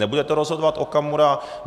Nebude to rozhodovat Okamura.